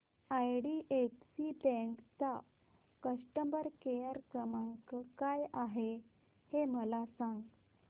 IDFC bank चा customer care क्रमांक काय आहे हे मला सांगा